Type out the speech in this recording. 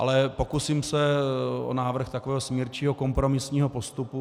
Ale pokusím se o návrh takového smírčího, kompromisního postupu.